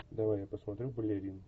давай я посмотрю балерин